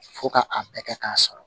Fo ka a bɛɛ kɛ k'a sɔrɔ